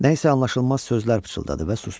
Nə isə anlaşılmaz sözlər pıçıldadı və sustu.